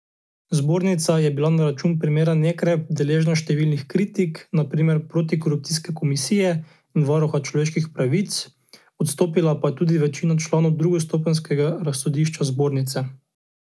Zbornica je bila na račun primera Nekrep deležna številnih kritik, na primer protikorupcijske komisije in varuha človekovih pravic, odstopila pa je tudi večina članov drugostopenjskega razsodišča zbornice.